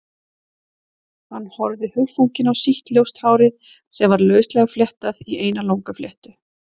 Hann horfði hugfanginn á sítt, ljóst hárið sem var lauslega fléttað í eina langa fléttu.